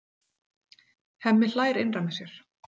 Hemmi hlær innra með sér.